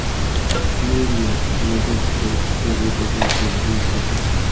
Nyu-York, Filadelfiya, Chikagodagi voqealarni kuzating.